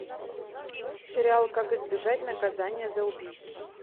сериал как избежать наказания за убийство